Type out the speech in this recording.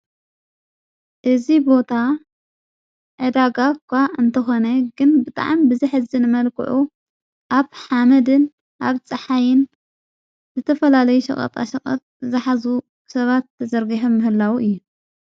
እዝ ቦታ ዕዳጋእኳ እንተኾነ ግን ብጥዓም ብዝሕዝን መልክዑ ኣብ ሓመድን ኣግፀሓይን ዘተፈላለይ ሸቐጣ ሰቐት ዝኃዙ ሰባት ተዘርጌሀ ምህላዉ እዩ።